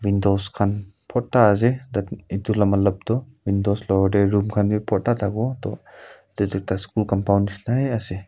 dost khan bhorta ase edu la matlup tu windows loko tae room khan bi borta thakiwo toh edu tu ekta school compound nishina hae ase.